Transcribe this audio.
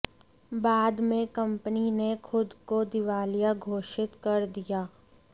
बाद में कंपनी ने खुद को दिवालिया घोषित कर दिया